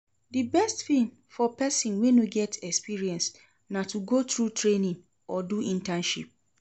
Di best thing for persin wey no get experience na to go through training or do internship